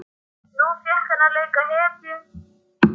Nú fékk hann að leika hetju.